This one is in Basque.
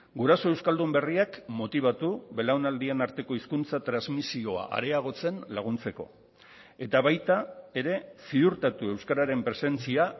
guraso euskaldun berriak motibatu belaunaldien arteko hizkuntza transmisioa areagotzen laguntzeko eta baita ere ziurtatu euskararen presentzia